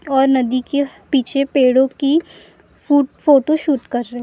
और नदी की पीछे पेड़ों की फोटोशूट कर रहे है।